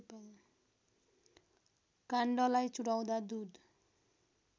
काण्डलाई चुडाउँदा दुध